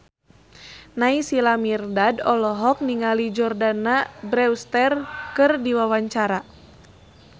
Naysila Mirdad olohok ningali Jordana Brewster keur diwawancara